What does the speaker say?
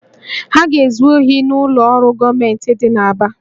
Ha ga-ezu ohi n'ụlọ ọrụ gọọmentị dị n'Aba